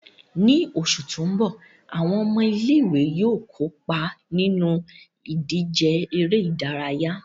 Ní oṣù tó ń bọ̀, àwọn ọmọ ilé ìwé yóò kópa nínú ìdíje eré ìdárayá